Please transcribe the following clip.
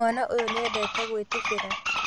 Mwana ũyũ nĩendete gwĩtubĩra